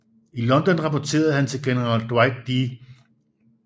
I London rapporterede han til general Dwight D